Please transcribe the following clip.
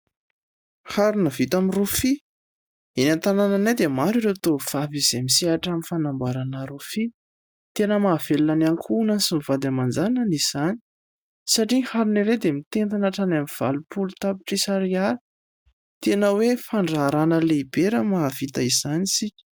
Harona vita amin'ny rofia. Eny an-tanànanay dia maro ireo tovavy izay misehatra amin' ny fanamboarana rofia. Tena mahavelona ny ankohonany sy ny vady aman-janany izany. Satria harona iray dia mitentina hatrany amin' ny valopolo tapitrisa ariary, tena hoe fandraharana lehibe raha mahavita izany isika.